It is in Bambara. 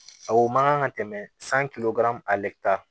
A o man kan ka tɛmɛ san